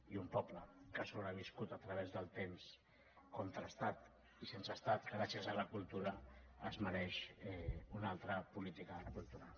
i un poble que ha sobreviscut a través del temps contra estat i sense estat gràcies a la cultura es mereix una altra política cultural